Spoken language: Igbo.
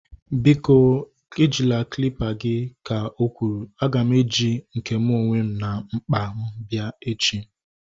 Biko ejila klịpa gị! Ka o kwuru. A ga m eji nke mụ onwe m na mkpa m bịa echi